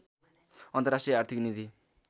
अन्तर्राष्ट्रिय आर्थिक निधि